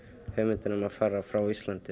hugmyndin um að fara frá Íslandi